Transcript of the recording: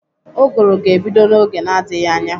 Ụgụrụ ga-ebido n'oge n'adgighị anya.